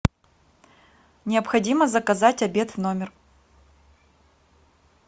необходимо заказать обед в номер